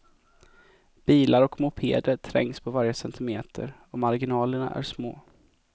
Bilar och mopeder trängs på varje centimeter och marginalerna är små.